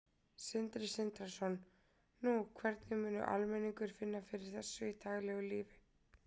Sindri Sindrason: Nú, hvernig mun almenningur finna fyrir þessu í daglegu lífi?